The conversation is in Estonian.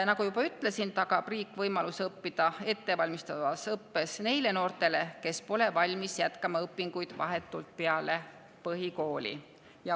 Nagu juba ütlesin, tagab riik võimaluse õppida ettevalmistavas õppes neile noortele, kes pole valmis jätkama õpinguid vahetult peale põhikooli.